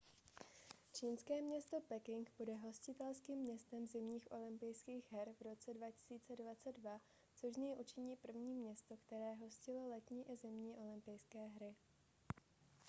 čínské město peking bude hostitelským městem zimních olympijských her v roce 2022 což z něj učiní první město které hostilo letní i zimní olympijské hry